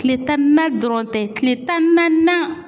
Kile tan ni na dɔrɔn tɛ kile tan ni naaninan